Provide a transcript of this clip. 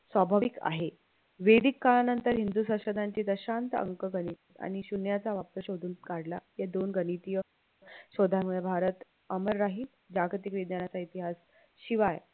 स्वाभाविक आहे वेदिक काळानंतर हिंदू संशोधनाची दशांत अंकगणित आणि शून्याचा शोधून काढला या दोन गणितीय शोधामुळे भारत अमर राहील जागतिक विज्ञाचा इतिहास शिवाय